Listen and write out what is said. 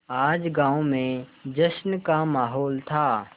आज गाँव में जश्न का माहौल था